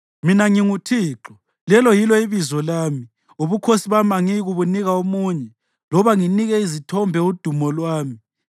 Mina nginguThixo, lelo yilo ibizo lami! Ubukhosi bami angiyikubunika omunye loba nginike izithombe udumo lwami.